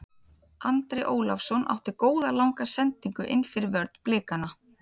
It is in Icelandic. Andri Ólafsson átti góða langa sendingu innfyrir vörn Blikana.